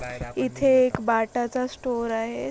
इथे एक बाटा चा स्टोर आहे.